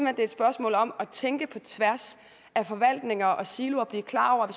er et spørgsmål om at tænke på tværs af forvaltninger og siloer og blive klar over